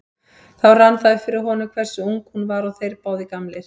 Þá rann það upp fyrir honum hversu ung hún var og þeir báðir gamlir.